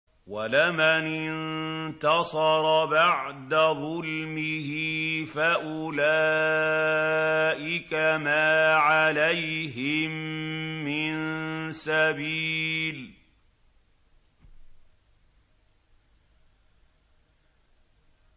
وَلَمَنِ انتَصَرَ بَعْدَ ظُلْمِهِ فَأُولَٰئِكَ مَا عَلَيْهِم مِّن سَبِيلٍ